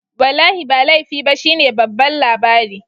Wallahi ba laifi ba shine babban labari